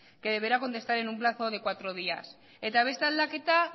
que deberá contestar en un plazo de cuatro días eta beste aldaketa